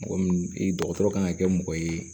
Mɔgɔ minnu i dɔgɔtɔrɔ kan ka kɛ mɔgɔ ye